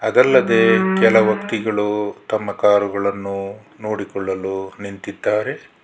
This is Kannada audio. ಅದಲ್ಲದೆ ಕೆಲ ವ್ಯಕ್ತಿಗಳು ತಮ್ಮ ಕಾರುಗಳನ್ನು ನೋಡಿಕೊಳ್ಳಲು ನಿಂತಿದ್ದಾರೆ.